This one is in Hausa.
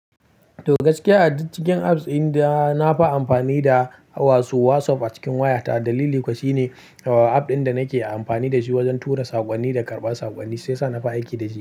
To gaskiya a cikin a cikin apps, inda na fa amfani da wato WhatsApp a cikin wayata. Dalili kuwa shine app din da nake amfani da shi wajen tura saƙonni da karɓar saƙonni shi yasa na fi aiki da shi.